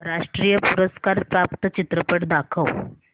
राष्ट्रीय पुरस्कार प्राप्त चित्रपट दाखव